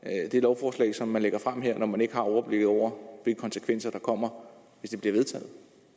det lovforslag som man lægger frem her når man ikke har overblikket over de konsekvenser der kommer hvis det bliver vedtaget